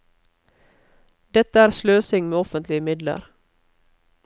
Dette er sløsing med offentlige midler.